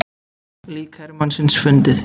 Lík hermannsins fundið